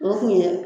O kun ye